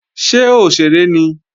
Ṣé òṣèré ni?